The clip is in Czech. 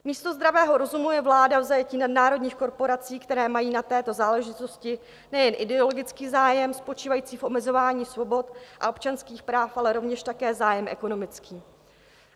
Místo zdravého rozumu je vláda v zajetí nadnárodních korporací, které mají na této záležitosti nejen ideologický zájem spočívající v omezování svobod a občanských práv, ale rovněž také zájem ekonomický.